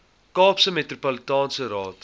kaapse metropolitaanse raad